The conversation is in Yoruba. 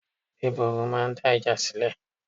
Gbébọrùn máa ń dá ìjà sílẹ̀.